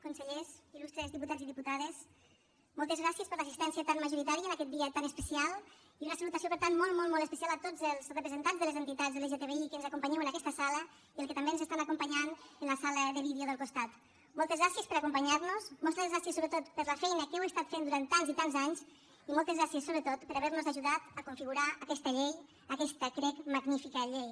consellers il·lustres diputats i diputades moltes gràcies per l’assistència tan majoritària en aquest dia tan especial i una salutació per tant molt molt molt especial a tots els representants de les entitats lgtbi que ens acompanyeu en aquesta sala i als que també ens estan acompanyant en la sala de vídeo del costat moltes gràcies per acompanyar nos moltes gràcies sobretot per la feina que heu estat fent durant tants i tants anys i moltes gràcies sobretot per haver nos ajudat a configurar aquesta llei aquesta crec magnífica llei